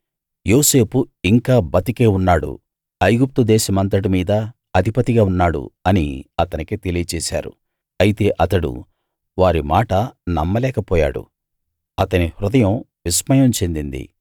యోసేపు ఇంకా బతికే ఉన్నాడు ఐగుప్తు దేశమంతటి మీదా అధిపతిగా ఉన్నాడు అని అతనికి తెలియచేశారు అయితే అతడు వారి మాట నమ్మలేక పోయాడు అతని హృదయం విస్మయం చెందింది